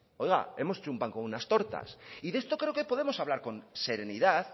oiga hemos hecho un pan con unas tortas y de esto creemos que podemos hablar con serenidad